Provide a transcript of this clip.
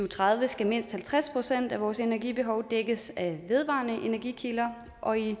tredive skal mindst halvtreds procent af vores energibehov dækkes af vedvarende energikilder og i